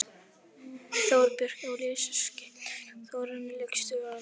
Þorbjörn og Elías skyttur og Þórarinn leikstjórnandi!